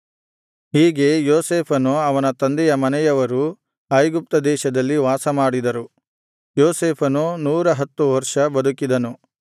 ಹೀಗೆ ಯೋಸೇಫನು ಅವನ ತಂದೆಯ ಮನೆಯವರೂ ಐಗುಪ್ತ ದೇಶದಲ್ಲಿ ವಾಸಮಾಡಿದರು ಯೋಸೇಫನು ನೂರಹತ್ತು ವರ್ಷ ಬದುಕಿದನು